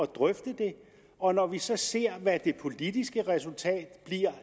drøfte det og når vi så ser hvad det politiske resultat